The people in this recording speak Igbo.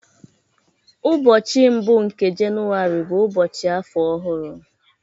ụbọchị mbụ nke Jenụwarị bụ ụbọchị afọ ọhụrụ